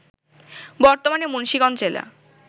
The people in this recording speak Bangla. বর্তমানে মুন্সিগঞ্জ জেলা